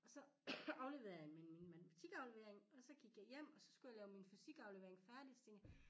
Og så afleverede jeg min min matematikaflevering og så gik jeg hjem og så skulle jeg lave min fysikaflevering færdig så tænkte jeg